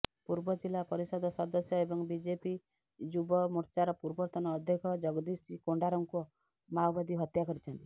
ପୂର୍ବ ଜିଲ୍ଲା ପରିଷଦ ସଦସ୍ୟ ଏବଂ ବିଜେପି ଯୁବମୋର୍ଚ୍ଚାର ପୂର୍ବତନ ଅଧ୍ୟକ୍ଷ ଜଗଦୀଶ କୋଣ୍ଡରାଙ୍କୁ ମାଓବାଦୀ ହତ୍ୟା କରିଛନ୍ତି